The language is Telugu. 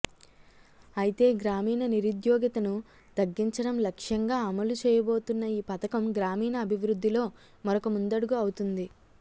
అయితే గ్రామీణ నిరుద్యోగితను తగ్గించడం లక్ష్యంగా అమలు చేయబోతున్న ఈ పథకం గ్రామీణ అభివృద్ధిలో మరొక ముందడుగు అవుతుంది